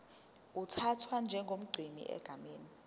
uthathwa njengomgcini egameni